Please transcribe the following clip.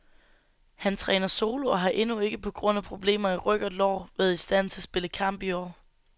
Han træner solo og har endnu ikke, på grund af problemer i ryg og lår, været i stand til at spille kamp i år.